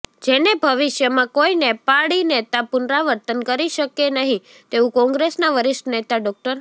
જેને ભવિષ્યમાં કોઈ નેપાળી નેતા પુનરાવર્તન કરી શકે નહીં તેવું કોંગ્રેસના વરિષ્ઠ નેતા ડો